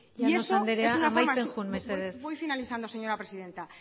y eso llanos andrea amaitzen joan mesedez voy finalizando señora presidenta